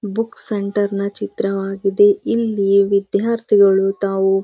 book centre ನ ಚಿತ್ರವಾಗಿದೆ ಇಲ್ಲಿ ವಿದ್ಯಾರ್ಥಿಗಳು ತಾವು--